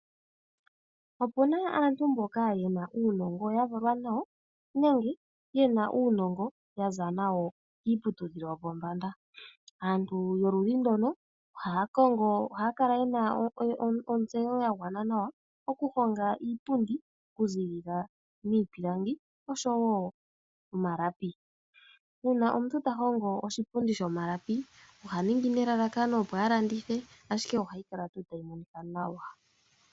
Opu na aantu mboka ye na uunongo ya valwa nawo nenge ye na uunongo ya za nawo kiiputudhilo yopombanda. Aantu yoludhi ndono ohaya kongo, ohaya kala ye na ontseyo ya gwana nawa okuhonga iipundi okuzilila miipilangi osho wo omalapi. Uuna omuntu ta hongo oshipundi shomalapi oha ningi nelalakano opo a landithe ashike ohayi kala tuu tayi monika nawa.